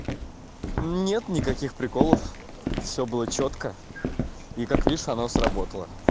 нет никаких приколов всё было чётко и как видишь оно сработало